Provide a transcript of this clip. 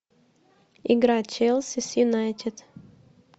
игра челси с юнайтед